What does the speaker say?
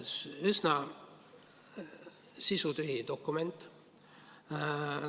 Üsna sisutühi dokument.